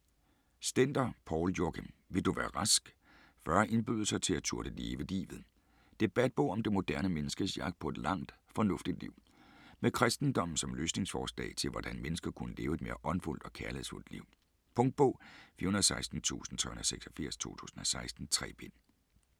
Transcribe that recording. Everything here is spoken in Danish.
Stender, Poul Joachim: Vil du være rask?: 40 indbydelser til at turde leve livet Debatbog om det moderne menneskes jagt på et langt, fornuftigt liv. Med kristendommen som løsningsforslag til, hvordan mennesker kunne leve et mere åndfuldt og kærlighedsfuldt liv. Punktbog 416386 2016. 3 bind.